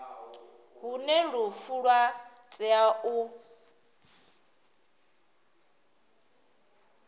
hune lufu lwa tea u